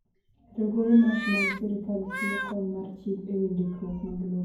Riwruoge ma ok mag sirkal chiwo kony mar chik e wi ndikruok mag lope.